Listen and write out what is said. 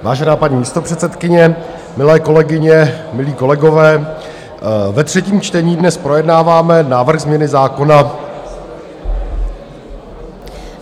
Vážená paní místopředsedkyně, milé kolegyně, milí kolegové, ve třetím čtení dnes projednáváme návrh změny zákona...